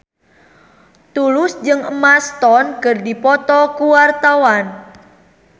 Tulus jeung Emma Stone keur dipoto ku wartawan